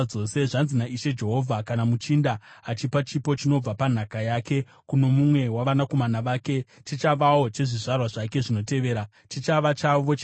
“ ‘Zvanzi naIshe Jehovha: Kana muchinda achipa chipo chinobva panhaka yake kuno mumwe wavanakomana vake, chichavawo chezvizvarwa zvake zvinotevera, chichava chavo chenhaka.